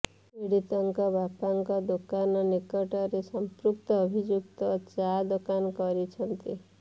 ପୀଡିତାଙ୍କ ବାପାଙ୍କ ଦୋକାନ ନିକଟରେ ସଂପୃକ୍ତ ଅଭିଯୁକ୍ତ ଚା ଦୋକାନ କରିଛନ୍ତି